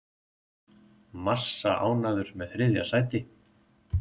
Massa ánægður með þriðja sæti